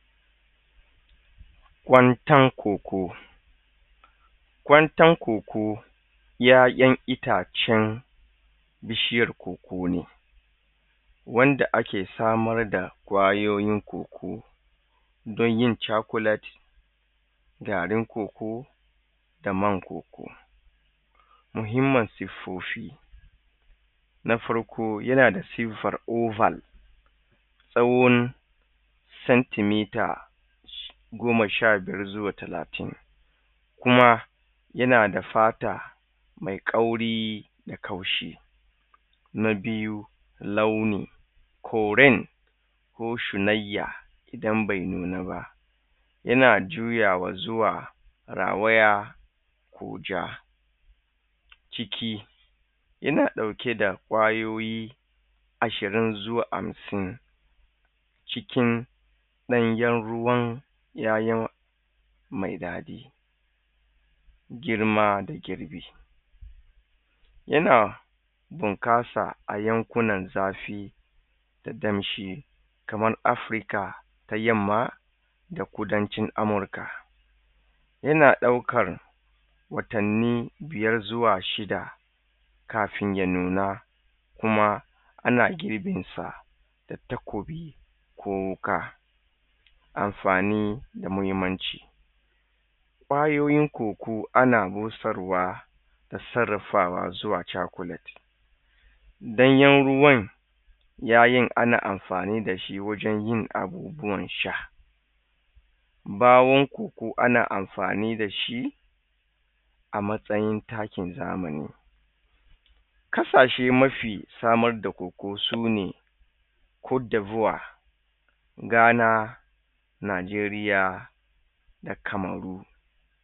Kwantan koko, kwantan koko ƴaƴan itacen bishiyar koko ne wanda ake samar da ƙwayoyin koko don yin cakulet, garin koko da man koko. Muhimman siffofi, na farko yana da siffar oval tsawon centimetre goma sha biyar zuwa talatin kuma yana da fata mai kauri da kaushi. Na biyu, launin koren ko shunayya idan bai nuna ba yana juyawa zuwa rawaya ko ja ciki yana ɗauke da ƙwayoyi ashirin zuwa hamsin cikin ɗanyen ruwan ƴaƴan mai daɗi girma da girbi yana bunƙasa a yankunan zafi da danshi kamar Afirka ta yamma da kudancin Amurka. Yana ɗaukar watanni biyar zuwa shida kafin ya nuna kuma ana girbin sa da takobi ko wuƙa Amfani da muhimmanci, ƙwayoyin koko ana busarwa da sarrafawa zuwa cakulet, ɗanyen ruwan ƴaƴan ana amfani da shi wajen yin abubuwan sha, ɓawon koko ana amfani da shi a matsayin takin zamani. Ƙasashe mafi samar da koko sune, Cote d voire, ghana Najeriya da cameroon.